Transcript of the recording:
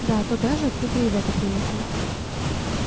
да туда же откуда ребята приехали